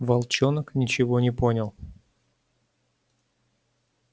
волчонок ничего не понял